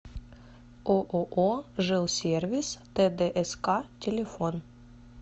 ооо жилсервис тдск телефон